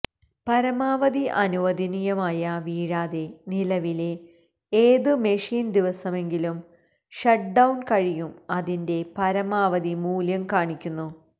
പരമാവധി അനുവദനീയമായ വീഴാതെ നിലവിലെ ഏത് മെഷീൻ ദിവസമെങ്കിലും ഷട്ട് ഡൌൺ കഴിയും അതിന്റെ പരമാവധി മൂല്യം കാണിക്കുന്നു